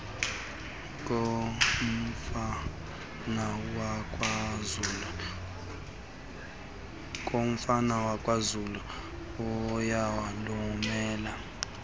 komfana wakwazulu iyalumeza